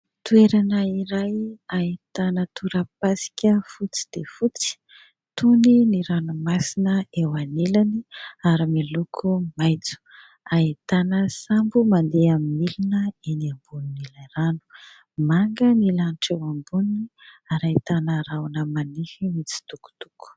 Toerana iray ahitana torapasika fotsy dia fotsy, tony ny ranomasina eo anilany ary miloko maitso. Ahitana sambo mandeha amin'ny milina eny ambonin'ilay rano ; manga ny lanitra eo amboniny ary ahitana rahona manify mitsitokotoko.